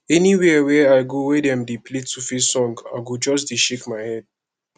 anywhere wey i go wey dem dey play 2face song i go just dey shake my head